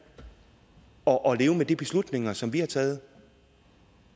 og leve med de beslutninger som vi har taget